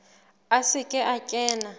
a se ke a kena